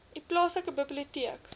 u plaaslike biblioteek